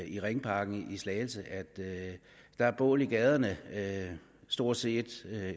i ringparken i slagelse at der er bål i gaderne stort set